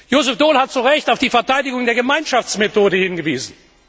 Joseph Daul hat zu Recht auf die Verteidigung der Gemeinschaftsmethode hingewiesen.